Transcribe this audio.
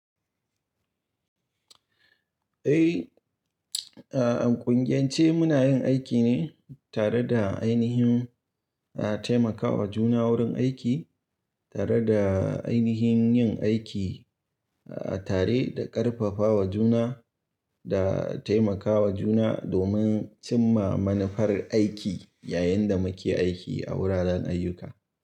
Eh, a, ƙungiyance muna yin aiki ne tare da ainihin, a, taimakawa juna wurin aiki tare da ainihin yin aiki, a, tare da ƙarfafawa juna da taimakawa juna domin cimma manufar aiki yayin da muke aiki a wuraren ayyuka.